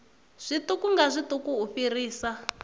zwiṱuku nga zwiṱuku u fhirisa